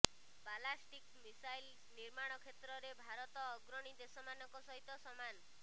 ballistic missile ନିର୍ମାଣ କ୍ଷେତ୍ରରେ ଭାରତ ଅଗ୍ରଣୀ ଦେଶମାନଙ୍କ ସହିତ ସମାନ୍